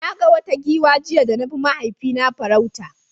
Na ga wata giwa jiya da na bi mahaifina farauta.